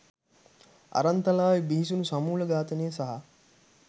අරන්තලාවේ බිහිසුණු සමූල ඝාතනය සහ